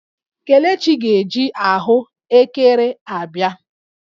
Kelechi ga-eji ahụ ekere a bịa